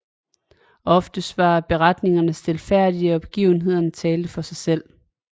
Oftest var beretningerne stilfærdige og begivenhederne talte for sig selv